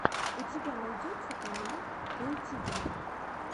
у тебя найдется канал хэй тиви